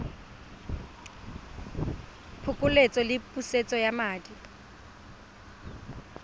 phokoletso le pusetso ya madi